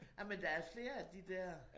Ej men der er flere af de der